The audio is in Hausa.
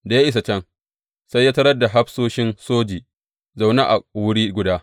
Da ya isa can, sai ya tarar da hafsoshin soji zaune a wuri guda.